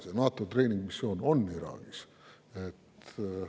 See NATO treeningmissioon on Iraagis.